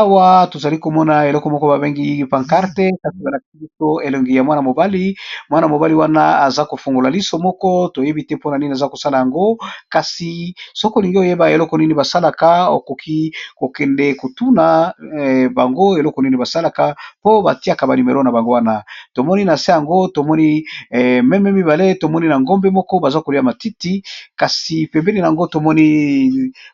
awa tozali komona eloko moko babengi pankarte aki balakaliso elongi ya mwana-mobali mwana-mobali wana aza kofungola liso moko toyebi te mpona nini aza kosala yango kasi soko olingi oyeba y eloko nini basalaka okoki kokende kotuna bango eloko nini basalaka mpo batiaka banimero na bango wana tomoni na se yango tomoni meme mibale tomoni na ngombe moko baza kolia matiti kasi pembeni yango tomoni